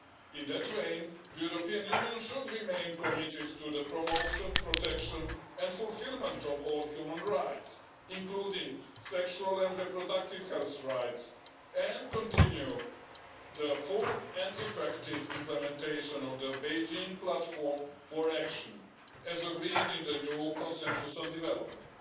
In that vein, the European Union should remain committed to the promotion, protection and fulfilment of all human rights, including sexual and reproductive health rights, and continue the full and effective implementation of the Beijing Platform for Action, as agreed in the new consensus on development.